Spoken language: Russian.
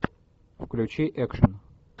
включи экшен